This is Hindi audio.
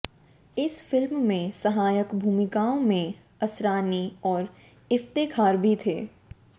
इस फिल्म में सहायक भूमिकाओं में असरानी और इफ़्तेख़ार भी थे